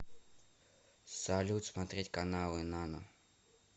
салют смотреть каналы нано